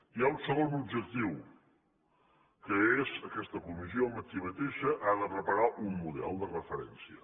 hi ha un segon objectiu que és aquesta comissió ella mateixa ha de preparar un model de referència